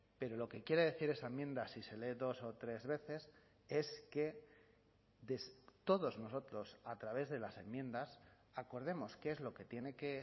pero lo que quiere decir esa enmienda si se lee dos o tres veces es que todos nosotros a través de las enmiendas acordemos qué es lo que tiene que